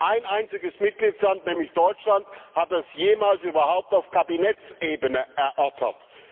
Ein einziger Mitgliedstaat, nämlich Deutschland, hat es jemals überhaupt auf Kabinettsebene erörtert.